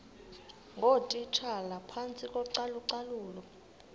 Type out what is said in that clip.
ngootitshala phantsi kocalucalulo